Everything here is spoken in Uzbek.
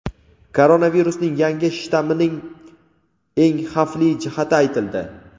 Koronavirusning yangi shtammining eng xavfli jihati aytildi.